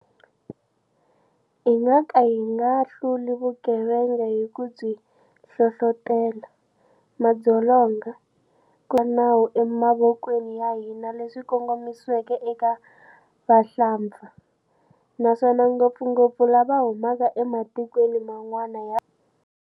Hi nga ka hi nga hluli vugevenga hi ku byi hlohlotela, madzolonga, ku chavisa ka nawu emavokweni ya hina leswi kongomisiweke eka vahlampfa, naswona ngopfungopfu lava humaka ematikweni man'wana ya,